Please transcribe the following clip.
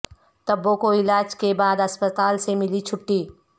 تبو کو علاج کے بعد اسپتال سے ملی چھٹی